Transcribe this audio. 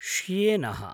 श्येनः